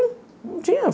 Não tinha.